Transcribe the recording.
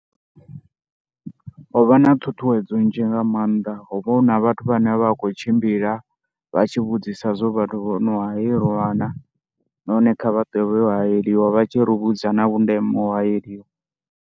Ho vha na ṱhuṱhuwedzo nzhi nga maanḓa, ho vha hu na vhathu vhane vha khou tshimbila vha tshi vhudzisa zwo vhathu vho no haeiliwa na, nahone kha vha ṱuwe vha yo haeliwa vha tshi ri vhudza na vhundeme ha uya u haeliwa.